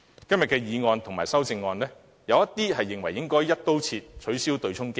今天的議案和修正案，有議員認為應"一刀切"取消對沖機制。